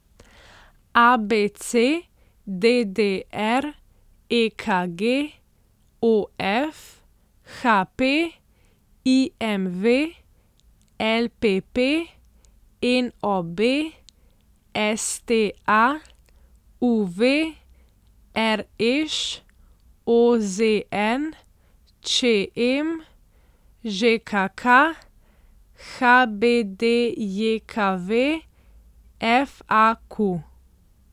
ABC, DDR, EKG, OF, HP, IMV, LPP, NOB, STA, UV, RŠ, OZN, ČM, ŽKK, HBDJKV, FAQ.